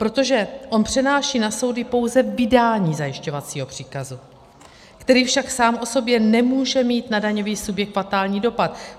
Protože on přenáší na soudy pouze vydání zajišťovacího příkazu, který však sám o sobě nemůže mít na daňový subjekt fatální dopad.